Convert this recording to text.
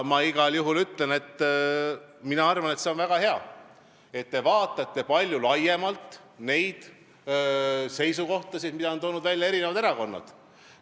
Ma igal juhul ütlen, mina arvan, et see on väga hea, kui te vaatate laiemalt neid seisukohtasid, mida on toonud välja eri erakonnad.